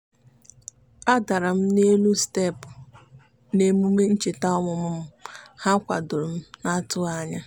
a dara m n'elu steepụ n'emume ncheta ọmụmụ m ha kwadoro m n'atụghị anya.